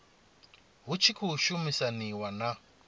hu tshi khou shumisaniwa na